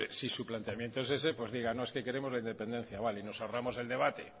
si su planteamiento es ese pues díganos es que queremos la independencia vale